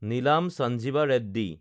Neil Sanjiva Reddy